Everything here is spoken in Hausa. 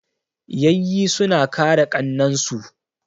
Yayyi suna kare ƙannan su.